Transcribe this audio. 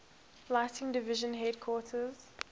lighting division headquarters